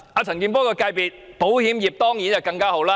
陳健波的保險業界當然更受惠。